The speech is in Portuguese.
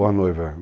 Ou a noiva.